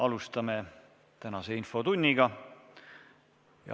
Alustame tänast infotundi.